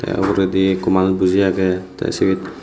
te uguredi ekku manuj boji agey te sibet.